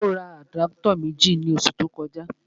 Ó ra àdápútọ̀ méjì ní oṣù tó kọjá